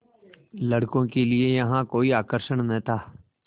लड़कों के लिए यहाँ कोई आकर्षण न था